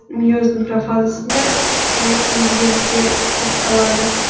мейоздың профазасында тән өзгерістер басталады